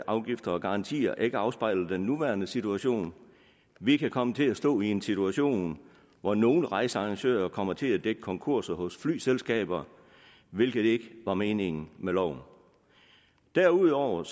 og garantier ikke afspejler den nuværende situation vi kan komme til at stå i en situation hvor nogle rejsearrangører kommer til at dække konkurser hos flyselskaber hvilket ikke var meningen med loven derudover